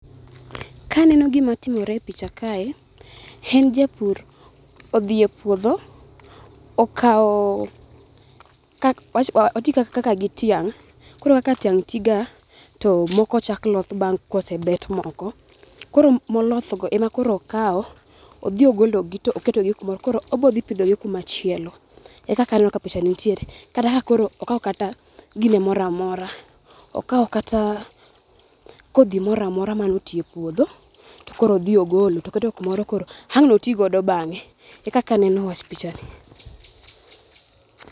Ka aneno gima otimore e picha kae, en japur odhi e puodho okawo oti kaka gi tiang', koro kaka tiang' tiga, to moko chakm loth kosebet moko, koro molosogo ema koro okawo odhi ogologi to oketo gi kumoro koro obiro dhi pidhogi kumachielo. Ekaka aneno ni [cs picha ni nitie. Kata ka koro okawo kata gire moro amora. Okawo kata kodhi moro amora moti e puodho koro odhi ogolo to oketo kumoro ang' notigo bang'e. Ekaka aneno wach pichani.